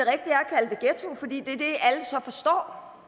alle så forstår